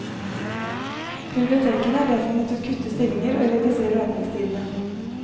Bibliotekene har derfor måttet kutte stillinger og redusere åpningstidene.